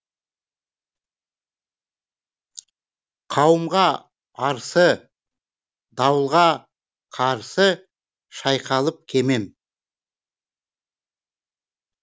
қауымға арсы дауылға қарсы шайқалып кемем